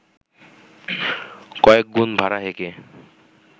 কয়েকগুণ ভাড়া হেঁকে